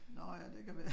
Nå ja det kan være